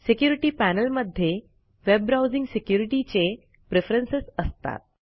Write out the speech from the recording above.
security panel मध्ये web browsing securityचे preference असतात